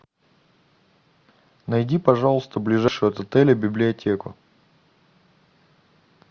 найди пожалуйста ближайшую от отеля библиотеку